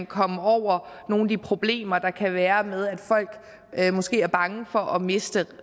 komme over nogle af de problemer der kan være med at folk måske er bange for at miste